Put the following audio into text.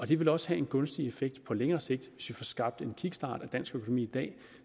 det vil også have en gunstig effekt på længere sigt hvis vi får skabt en kickstart af dansk økonomi i dag